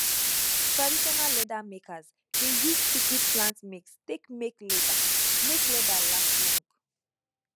traditional leather makers dey use secret plant mix take make leather make leather last long